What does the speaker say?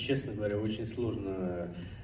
честно говоря очень сложно